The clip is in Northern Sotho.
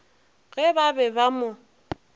ge ba be ba mo